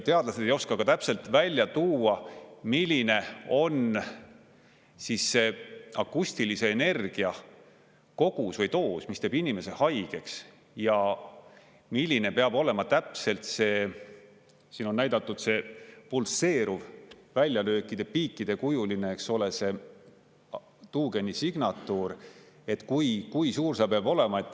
Teadlased ei oska täpselt välja tuua, milline on siis see akustilise energia kogus või doos, mis teeb inimese haigeks, ja milline peab olema täpselt see, siin on näidatud pulseeriv väljalöökide piikide kujuline, eks ole, see tuugeni signatuur, et kui suur see peab olema.